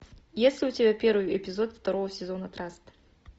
есть ли у тебя первый эпизод второго сезона траст